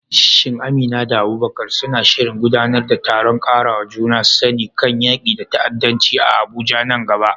Shin Amina da Abubakar suna shirin gudanar da taron ƙarawa juna sani kan yaƙi da ta'addanci a Abuja nan gaba?